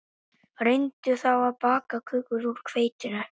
Reyndu þá að baka köku úr hveitinu